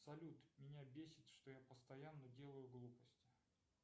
салют меня бесит что я постоянно делаю глупости